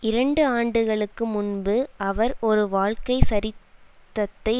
இரண்டு ஆண்டுகளுக்கு முன்பு அவர் ஒரு வாழ்க்கை சரிதத்தை